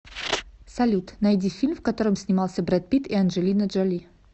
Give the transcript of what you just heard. салют найди фильм в котором снимался бред пит и анджелина джоли